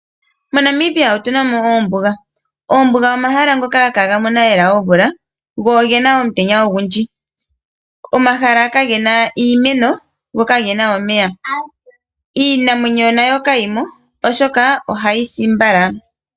MoNamibia otuna mo oombuga, omahala ngoka ihaga mono lela omvula go ogena omutenya ogundji. Omahala kagena iimeno go kagena omeya. Iinamwenyo nayo kayimo oshoka ohayi si mbala.